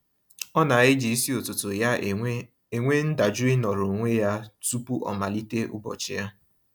Ọ na-eji isi ụtụtụ ya enwe enwe ndajụ ịnọrọ onwe ya tụpụ ọ malite ụbọchị ya.